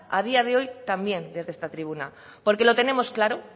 a día de hoy también desde esta tribuna porque lo tenemos claro